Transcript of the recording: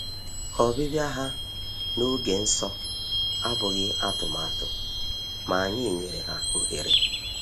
Ọbịbịa ha n’oge nsọ abụghị atụmatụ, ma anyị nyere ha ohere.